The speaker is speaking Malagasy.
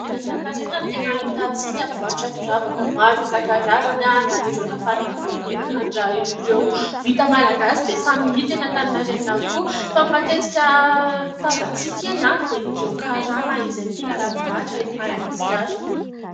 Eny Antaninarenina no tena ahitantsika mpivarotra firavaka maro isan-karazany. Na ireo nafarana avy any ivelany na ireo vita malagasy dia samy hita eny Antaninarenina avokoa. Fa ny matetika tazantsika eny dia ireo karana izay mpila ravin'ahitra eto Madagasikara.